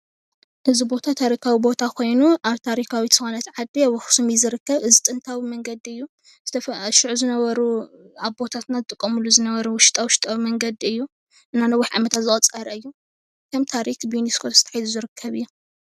እዚ ቦታ ታሪኻዊ ቦታ ኾይኑ ኣብ ታሪኻዊት ዝኾነት ዓዲ ኣብ ኣኽሱም እዩ ዝርከብ እዚ ጥንታዊ መንገዲ እዩ ። ሽዑ ዝነበሩ ኣቦታትና ዝጥቀምሉ ዝነበሩ ዉሽጣ ዉሽጣዊ መንገዲ እዩ እና ነዊሕ ዓመታት ዘቑፀረ እዩ ከም ታሪኽ ብዩኔስኮ ተታሒዙ ዝርከብ እዩ።